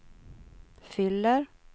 fyller